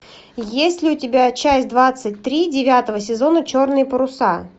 есть ли у тебя часть двадцать три девятого сезона черные паруса